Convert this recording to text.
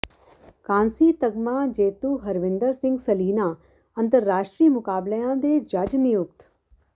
ਕਾਂਸੀ ਤਗਮਾ ਜੇਤੂ ਹਰਵਿੰਦਰ ਸਿੰਘ ਸਲੀਣਾ ਅੰਤਰਰਾਸ਼ਟਰੀ ਮੁਕਾਬਲਿਆਂ ਦੇ ਜੱਜ ਨਿਯੁਕਤ